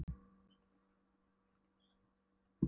Rassskellurinn frá mömmu og nafngiftin sátu lengi í blóðinu.